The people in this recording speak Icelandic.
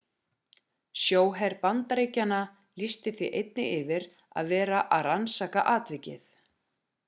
sjóher bandaríkjanna lýsti því einnig yfir að vera að rannsaka atvikið